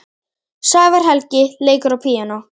Sævar Helgi leikur á píanó.